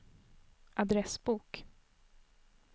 adressbok